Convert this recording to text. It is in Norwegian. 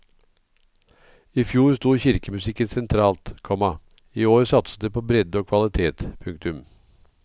I fjor sto kirkemusikken sentralt, komma i år satses det på bredde og kvalitet. punktum